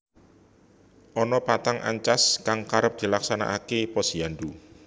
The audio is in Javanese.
Ana patang ancas kang karep dilaksanakake Posyandu